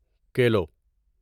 kilo